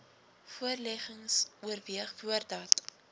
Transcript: voorleggings oorweeg voordat